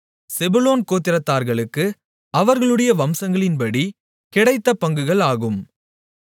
செபுலோன் கோத்திரத்தார்களுக்கு அவர்களுடைய வம்சங்களின்படி கிடைத்த பங்குகள் ஆகும்